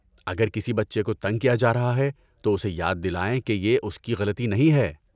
اگر کسی بچے کو تنگ کیا جا رہا ہے تو اسے یاد دلائیں کہ یہ اس کی غلطی نہیں ہے۔